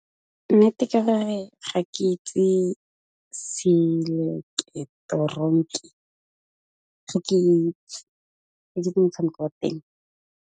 Nnete ke gore ga ke itse seileketoroniki, ga ke itse ke motshameko wa teng.